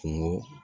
Kungo